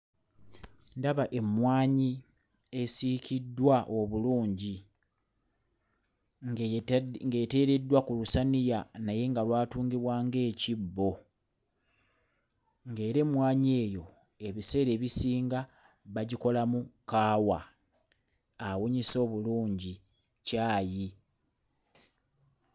Ndaba emmwanyi esiikiddwa obulungi ng'eteereddwa ku lusaniya naye nga lwatungibwa ng'ekibbo. Ng'era emmwanyi eyo ebiseera ebisinga bagikolamu kaawa awunyisa obulungi caayi.